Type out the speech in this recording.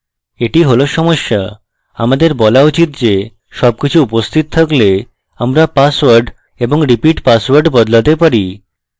that হল সমস্যা আমাদের বলা উচিত যেসবকিছু উপস্থিত থাকলে আমরা পাসওয়ার্ড এবং repeat পাসওয়ার্ড বদলাতে পারি